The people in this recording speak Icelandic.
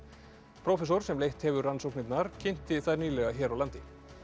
prófessor sem leitt hefur rannsóknirnar kynnti þær nýlega hér á landi